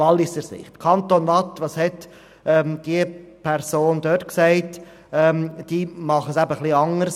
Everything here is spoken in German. Der Kanton Waadt macht es ein bisschen anders.